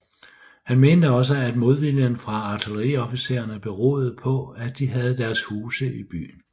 Han mente også at modviljen fra artilleriofficererne beroede på at de havde deres huse i byen